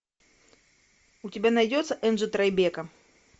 у тебя найдется энджи трайбека